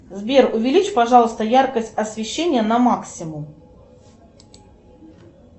сбер увеличь пожалуйста яркость освещения на максимум